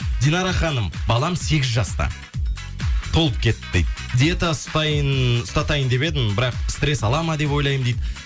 динара ханым балам сегіз жаста толып кетті дейді диета ұстатайын деп едім бірақ стресс ала ма деп ойлаймын дейді